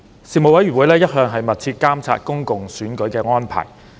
事務委員會一向密切監察公共選舉的安排。